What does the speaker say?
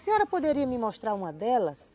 A senhora poderia me mostrar uma delas?